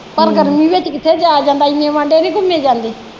ਪਰ ਗਰਮੀ ਵਿਚ ਕਿਥੇ ਜਾਇਆ ਜਾਂਦਾ ਇੰਨੇ ਵਾਡੇ ਨਹੀਂ ਘੁੰਮੇ ਜਾਂਦੇ।